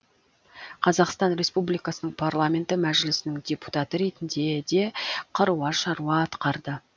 қазақстан республикасының парламенті мәжілісінің депутаты ретінде де қыруар шаруа атқарды